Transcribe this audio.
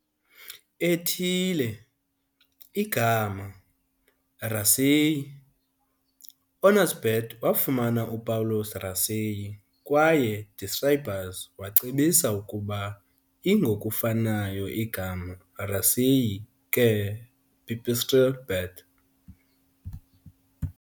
- ethile, igama, "raceyi", honors bat wafumana Upawulos Racey kwaye describers wacebisa ukuba i - ngokufanayo igama "Racey ke pipistrelle bat".